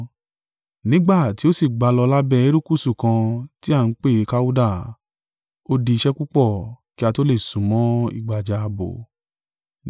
Nígbà tí ó sì gbá a lọ lábẹ́ erékùṣù kan tí a ń pè Kauda, ó di iṣẹ́ púpọ̀ kí a tó lè súnmọ́ ìgbàjá ààbò.